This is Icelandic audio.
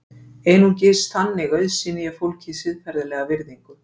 einungis þannig auðsýni ég fólki siðferðilega virðingu